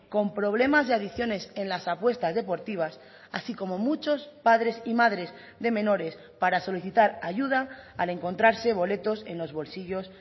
con problemas de adicciones en las apuestas deportivas así como muchos padres y madres de menores para solicitar ayuda al encontrarse boletos en los bolsillos